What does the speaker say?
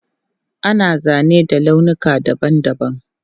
Ana zane da launuka dabam dabam.